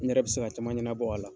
Ne yɛrɛ bi se ka caman ɲɛnabɔ a la .